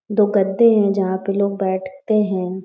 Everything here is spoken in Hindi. दो गद्दे हैं जहाँ पे लोग बैठते हैं।